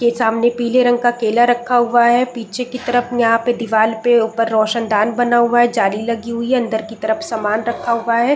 के सामने पीले रंग का केला रखा हुआ है पीछे की तरफ यहाँ पे दीवाल पे ऊपर रोशन दान बना हुआ है जाली लगी हुई है अंदर की तरफ सामान रखा हुआ है ।